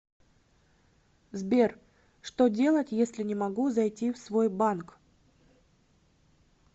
сбер что делать если не могу зайти в свой банк